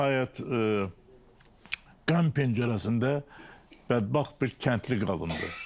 Və nəhayət Qəm pəncərəsində bədbəxt bir kəndli qadındır.